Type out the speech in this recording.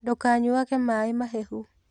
Ndũkanyuage mai mahehu.